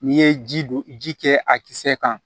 N'i ye ji don ji kɛ a kisɛ kan